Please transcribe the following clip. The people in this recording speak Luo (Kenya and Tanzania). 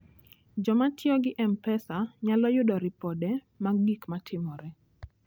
Joma tiyo gi M-Pesa nyalo yudo ripode mag gik matimore.